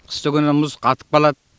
қыстыгүні мұз қатып қалады